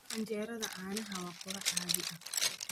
Canjeerada caanaha waa quraac caadi ah.